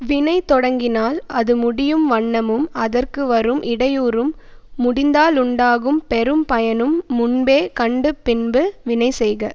வினை தொடங்கினால் அது முடியும் வண்ணமும் அதற்குவரும் இடையூறும் முடிந்தாலுண்டாகும் பெரும் பயனும் முன்பே கண்டு பின்பு வினைசெய்க